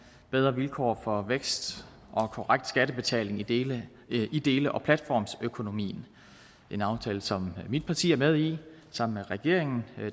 bedre vilkår for vækst og korrekt skattebetaling i dele i dele og platformsøkonomien en aftale som mit parti er med i sammen med regeringen